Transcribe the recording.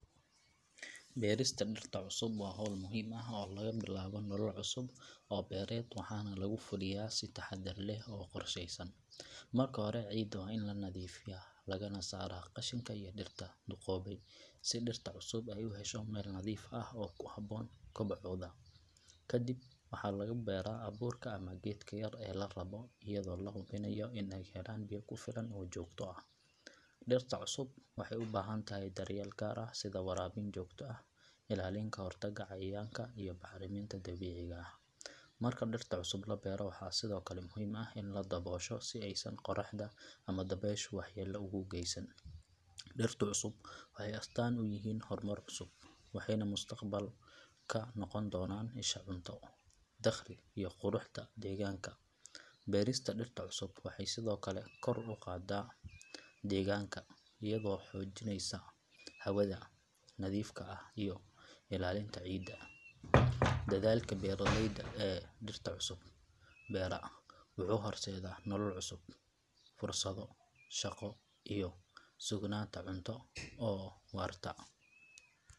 Beerista dhirta cusub waa hawl muhiim ah oo lagu bilaabo nolol cusub oo beereed waxaana lagu fuliyaa si taxaddar leh oo qorsheysan. Marka hore ciidda waa in la nadiifiyaa lagana saaraa qashinka iyo dhirta duqoobay si dhirta cusub ay u hesho meel nadiif ah oo ku habboon kobocooda. Ka dib waxaa lagu beeraa abuurka ama geedka yar ee la rabbo iyadoo la hubinayo in ay helaan biyo ku filan oo joogto ah. Dhirta cusub waxay u baahan tahay daryeel gaar ah sida waraabin joogto ah, ilaalin ka hortag cayayaanka iyo bacriminta dabiiciga ah. Marka dhirta cusub la beero waxaa sidoo kale muhiim ah in la daboosho si aysan qorraxda ama dabayshu waxyeello ugu geysan. Dhirta cusub waxay astaan u yihiin horumar cusub, waxayna mustaqbalka noqon doonaan isha cunto, dakhli iyo quruxda deegaanka. Beerista dhirta cusub waxay sidoo kale kor u qaaddaa deegaanka iyadoo xoojinaysa hawada nadiifka ah iyo ilaalinta ciidda. Dadaalka beeraleyda ee dhirta cusub beera wuxuu horseedaa nolol cusub, fursado shaqo iyo sugnaanta cunto oo waarta.